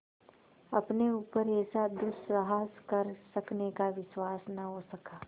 अपने ऊपर ऐसा दुस्साहस कर सकने का विश्वास न हो सका